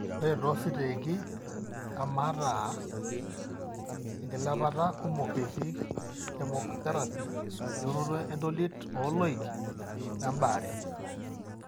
Ore toositeegi emaata enkilepata kumok ketii chemotherapy, eunoto entolit ooloik, oembaare.